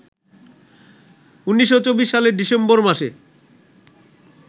১৯২৪ সালের ডিসেম্বর মাসে